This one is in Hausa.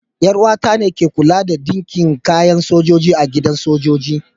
Yar uwa ta ne ke kulawa da dinkin kayan sojoji a gidan sojoji.